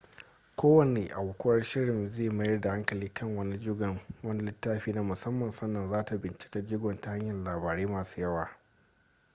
kowane aukuwar shirin zai mayar da hankali kan wani jigon wani littafi na musamman sannan zata bincika jigon ta hanyan labarai masu yawa